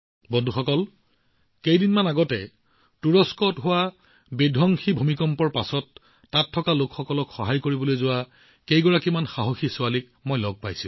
বন্ধুসকল কেইদিনমান আগতে মই সেই সাহসী ছোৱালীবোৰকো লগ পাইছিলো যিসকলে বিধ্বংসী ভূমিকম্পৰ পিছত তুৰস্কৰ লোকসকলক সহায় কৰিবলৈ গৈছিল